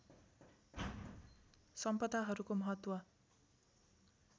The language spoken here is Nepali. सम्पदाहरूको महत्त्व